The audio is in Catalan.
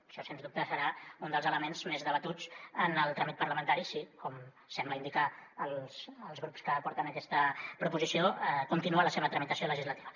això sens dubte serà un dels elements més debatuts en el tràmit parlamentari si com semblen indicar els grups que porten aquesta proposició continua la seva tramitació legislativa